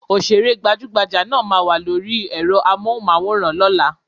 Òṣèré gbajúgbajà náà ma wà lóri ẹ́rọ Amóhùnmáwòrán lọ́la.